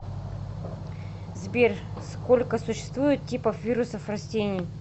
сбер сколько существует типов вирусов растений